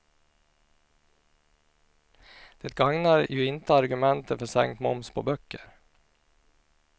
Det gagnar ju inte argumenten för sänkt moms på böcker.